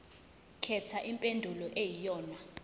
khetha impendulo eyiyonayona